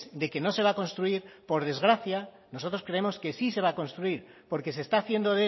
de que no se va a construir por desgracia nosotros creemos que sí se va a construir porque se está haciendo